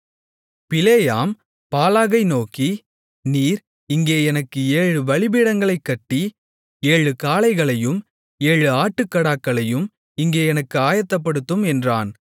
பிலேயாம் பாலாகை நோக்கி நீர் இங்கே எனக்கு ஏழு பலிபீடங்களைக் கட்டி ஏழு காளைகளையும் ஏழு ஆட்டுக்கடாக்களையும் இங்கே எனக்கு ஆயத்தப்படுத்தும் என்றான்